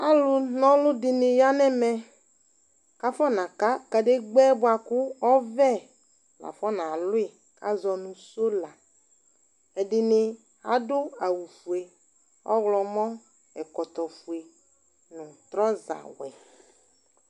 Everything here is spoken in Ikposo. Ɔlʋnaɔlʋ dɩnɩ ya nʋ ɛmɛ kʋ afɔnaka kadegbǝ yɛ bʋa kʋ ɔvɛ afɔnalʋ yɩ kʋ azɔ nʋ sola Ɛdɩnɩ adʋ awʋfue, ɔwlɔmɔ, ɛkɔtɔfue, trɔzawɛ